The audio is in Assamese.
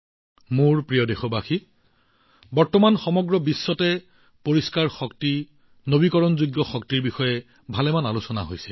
মোৰ মৰমৰ দেশবাসীসকল আজিকালি সমগ্ৰ বিশ্বতে পৰিষ্কাৰ শক্তি নৱীকৰণযোগ্য শক্তিৰ বিষয়ে যথেষ্ট আলোচনা হৈছে